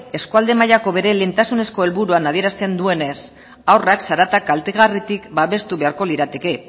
eskualde mailako bere lehentasunezko helburuan adierazten duenez haurrak zarata kaltegarritik babestu beharko lirateke